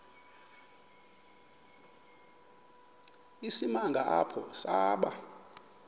isimanga apho saba